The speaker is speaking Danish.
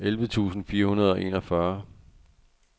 elleve tusind fire hundrede og enogfyrre